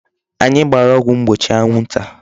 Anyị gbara ọgwụ mgbochi anwụ nta.